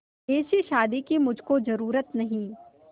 ऐसी शादी की मुझको जरूरत नहीं